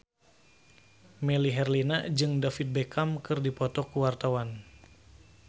Melly Herlina jeung David Beckham keur dipoto ku wartawan